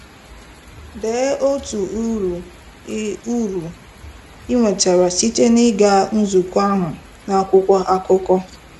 Dee otu uru ị uru ị nwetara site n'ịga nzukọ ahụ, n'akwụkwọ akụkọ.